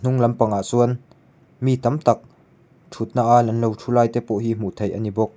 hnung lampangah sâwn mi tam tak ṭhutnaa an lo ṭhu lai te pawh hi hmuh theih a ni bawk.